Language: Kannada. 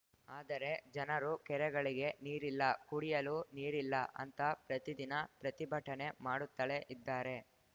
ಆದರೆ ಜನರು ಕೆರೆಗಳಿಗೆ ನೀರಿಲ್ಲ ಕುಡಿಯಲು ನೀರಿಲ್ಲ ಅಂತ ಪ್ರತಿದಿನ ಪ್ರತಿಭಟನೆ ಮಾಡುತ್ತಲೇ ಇದ್ದಾರೆ